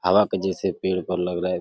हवा के जैसे पेड़ पर लग रहा है।